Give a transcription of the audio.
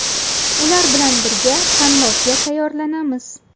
Ular bilan birga tanlovga tayyorlanamiz.